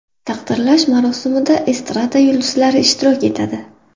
Taqdirlash marosimida estrada yulduzlari ishtirok etadi.